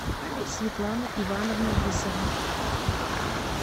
светлана ивановна лисова